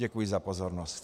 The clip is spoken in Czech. Děkuji za pozornost.